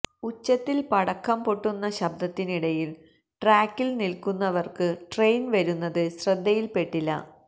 ഉച്ചത്തിൽ പടക്കം പൊട്ടുന്ന ശബ്ദത്തിനിടയിൽ ട്രാക്കിൽ നിൽക്കുന്നവർക്കു ട്രെയിൻ വരുന്നത് ശ്രദ്ധയിൽപ്പെട്ടില്ല